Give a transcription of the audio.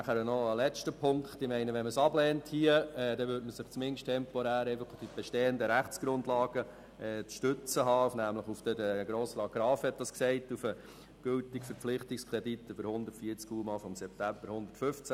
Noch ein letzter Punkt: Wenn man den Kredit hier ablehnt, dann würde man sich zumindest temporär auf die bestehenden Rechtsgrundlagen zu stützen haben, nämlich – Grossrat Graf hat es gesagt – auf den gültigen Verpflichtungskredit vom September 2015.